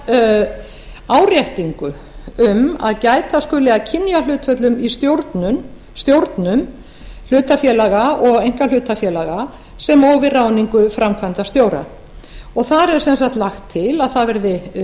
varðar áréttingu um að gæta skuli að kynjahlutföllum í stjórnum hlutafélaga og einkahlutafélaga sem og við ráðningu framkvæmdastjóra þar er lagt til að það verði